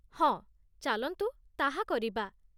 ହଁ, ଚାଲନ୍ତୁ ତାହା କରିବା।